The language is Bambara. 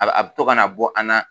A bɛ to ka na bɔ an na